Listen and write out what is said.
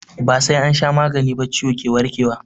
Ba sai an sha magani ba ciwo ke warke wa.